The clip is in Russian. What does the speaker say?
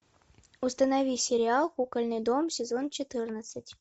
установи сериал кукольный дом сезон четырнадцать